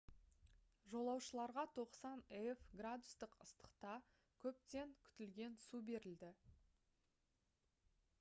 жолаушыларға 90 f градустық ыстықта көптен күтілген су берілді